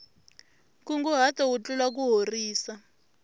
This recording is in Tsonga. nkunguhato wu tlula kuhorisa